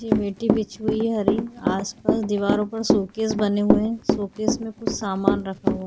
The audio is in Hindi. जे मिट्टी बिछी हुई है हरीं आसपास दीवारों पर शोकेष बने हुए है शोकेष में कुछ समान रखा हुआ --